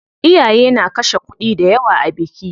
Iyaye na kashe kuɗi dayawa a biki.